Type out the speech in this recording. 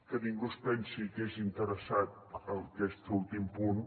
que ningú es pensi que és interessat aquest últim punt